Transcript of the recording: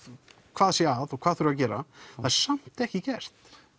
hvað sé að og hvað þurfi að gera það er samt ekki gert